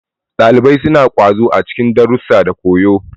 Ɗalibai suna ƙwazo a cikin darussa da koyo.